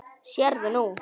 Sérðu nú?